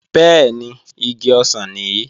Bẹ́ẹ̀ni, igi ọsàn nìí